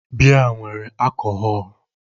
Biya nwere akohọl.